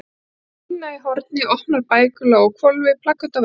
Það var dýna í horni, opnar bækur lágu á hvolfi, plaköt á veggjum.